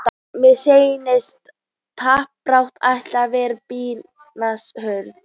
Mér sýnist samt toppbaráttan ætli að vera býsna hörð!